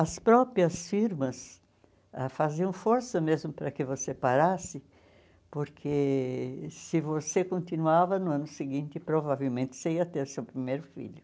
As próprias firmas faziam força mesmo para que você parasse, porque se você continuava no ano seguinte, provavelmente você ia ter seu primeiro filho.